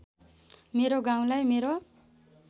मेरो गाउँलाई मेरो